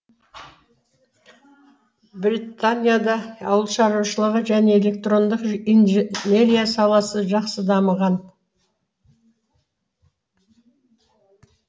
бретанияда ауылшаруашылығы және электрондық инженерия саласы жақсы дамыған